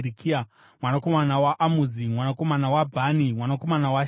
mwanakomana waAmuzi, mwanakomana waBhani, mwanakomana waShemeri,